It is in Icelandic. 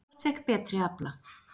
Hvort fékk betri afla?